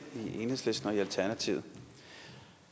i enhedslisten og alternativet